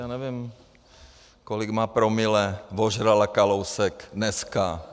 Já nevím, kolik má promile vožrala Kalousek dneska.